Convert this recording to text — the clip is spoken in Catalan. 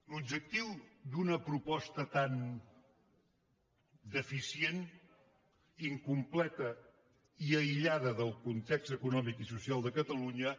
l’objectiu d’una proposta tan deficient incompleta i aïllada del context econòmic i social de catalunya